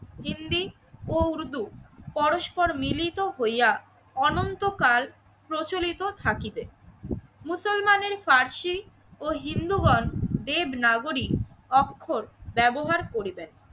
হিন্দি ও উর্দু পরস্পর মিলিত হইয়া অনন্তকাল প্রচলিত থাকিবে। মুসলমানের পার্শি ও হিন্দুগণ দেবনাগরিক অক্ষর ব্যবহার করিবেন।